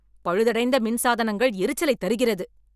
பழுதடைந்த மின்சாதனங்கள் எரிச்சலைத் தருகிறது